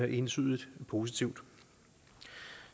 entydigt positivt